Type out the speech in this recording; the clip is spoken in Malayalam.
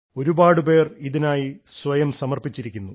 ഒരുപാടുപേർ ഇതിനായി സ്വയം സമർപ്പിച്ചിരിക്കുന്നു